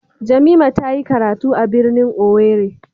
Jamimah tayi karatu a birnin owerri.